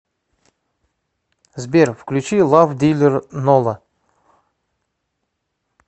сбер включи лав дилер нола